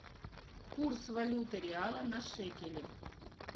курс валюты реала на шекели